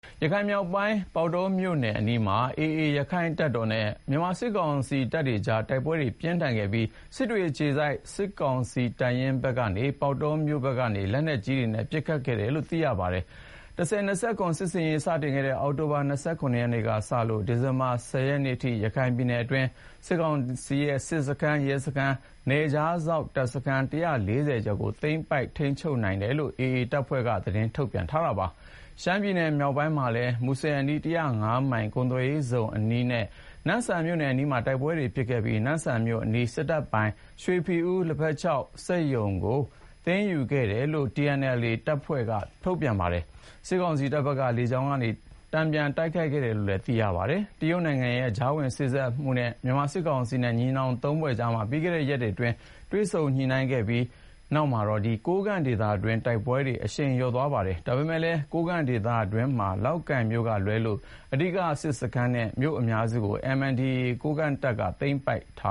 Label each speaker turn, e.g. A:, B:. A: ရခိုင်မြောက်ပိုင်း ပေါက်တောမြို့နယ်အနီးမှာ AA ရခိုင်တပ်တော်နဲ့ မြန်မာစစ်ကောင်စီကြား တိုက်ပွဲတွေပြင်းထန်ခဲ့ပြီး စစ်တွေအခြေစိုက် စစ်ကောင်စီတပ်ရင်းဘက်ကနေ ပေါက်တောမြို့ဘက်ကို လက်နက်ကြီးတွေပစ်ခတ်ခဲ့တယ်လို့ သိရပါတယ်။ ၁၀၂၇ စစ်ဆင်ရေး စတင်တဲ့ အောက်တိုဘာ ၂၇ ရက်နေ့ကနေ ဒီဇင်ဘာလ ၁၀ ရက်နေ့အထိ ရခိုင်ပြည်နယ်အတွင်း စစ်ကောင်စီရဲ့စစ်စခန်း၊ ရဲစခန်းနဲ့ နယ်ခြားစောင့်တပ်စခန်း ၁၄၀ ကျော်ကို သိမ်းပိုက်ထိန်းချုပ်နိုင်ခဲ့တယ်လို့ AA ရခိုင်တပ်တော်ဘက်က သတင်းထုတ်ပြန်ထားပါတယ်။ ရှမ်းပြည်မြောက်ပိုင်းမှာလည်း မူဆယ်အနီး ၁၀၅ မိုင်ကုန်သွယ်ရေးဇုံအနီးနဲ့ နမ့်ဆန်မြို့အနီးမှာ တိုက်ပွဲတွေဖြစ်ခဲ့ပြီး နမ့်ဆန်မြို့အနီး စစ်တပ်ပိုင် ရွှေဖီဦး လက်ဖက်ခြောက်စက်ရုံကို သိမ်းယူခဲ့တယ်လို့ TNLA တအောင်းပလောင်တပ်ဖွဲ့က ထုတ်ပြန်ပါတယ်။ စစ်ကောင်စီဘက်က လေကြောင်းကနေ တန်ပြန်တိုက်ခိုက်ခဲ့တယ်လို့ သိရပါတယ်။ တရုတ်နိုင်ငံရဲ့ ကြားဝင်စေ့စပ်မှုနဲ့ မြန်မာစစ်ကောင်စီနဲ့ညီနောင်မဟာမိတ်သုံးဖွဲ့ကြား ပြီးခဲ့တဲ့ရက်တွေက တွေ့ဆုံညှိနှိုင်းခဲ့ပြီးနောက် ကိုးကန့်ဒေသတွင်းမှာတော့ တိုက်ပွဲတွေ အရှိန်လျော့သွားပါတယ်။ ဒါပေမယ့် ကိုးကန့်ဒေသတွင်းမှာ လောက်ကိုင်မြို့ကလွဲလို့ အဓိက စစ်စခန်းနဲ့မြို့အများစုကို MNDAA ကိုးကန့်တပ်က
B: သိမ်းပိုက်ထ